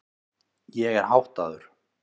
Ég er háttaður.